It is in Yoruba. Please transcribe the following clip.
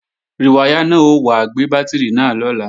Rìwáyà náà ó wá gbé bátìrì náà lọ́la